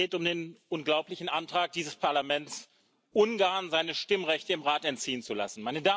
Es geht um den unglaublichen Antrag dieses Parlaments, Ungarn seine Stimmrechte im Rat entziehen zu lassen.